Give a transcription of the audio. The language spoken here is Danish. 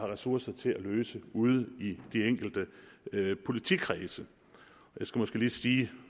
ressourcer til at løse ude i de enkelte politikredse jeg skal måske lige sige